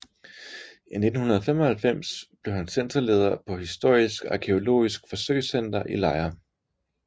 I 1995 blev han centerleder på Historisk Arkæologisk Forsøgscenter i Lejre